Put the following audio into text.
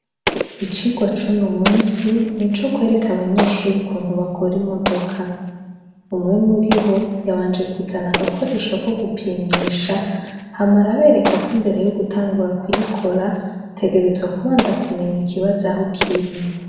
Icirwa c'uno munsi nico kwereka abanyeshure ukuntu bakor'imodoka, umwe muribo yabanje kuzana agakorsho ko gupimisha, hama arabereka ko imbere yo gutangura kuyikora ,utegerezwa kubanza kumenya ikibazo aho kiri.